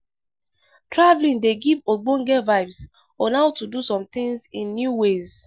Travelling dey give ogbonge vibes on how to do some things in new ways